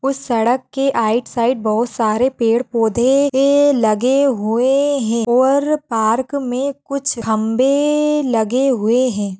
उस सड़क के आईट साइड बहुत सारे पेड़ पौधे धे लगे हुए हैं और पार्क